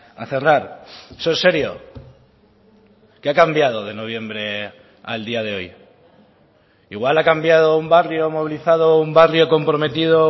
a cerrar eso es serio qué ha cambiado de noviembre al día de hoy igual ha cambiado un barrio movilizado un barrio comprometido